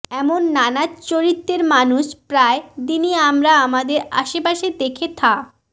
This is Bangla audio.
এমন নানা চরিত্রের মানুষ প্রায় দিনই আমার আমাদের আশেপাশে দেখে থা